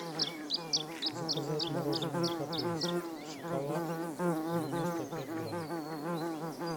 заказать мороженое каприз шоколад девяносто пять грамм